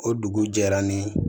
O dugu jɛra ni